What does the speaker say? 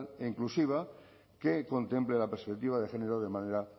e inclusiva que contemple la perspectiva de género de manera